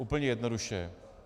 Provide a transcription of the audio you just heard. Úplně jednoduše.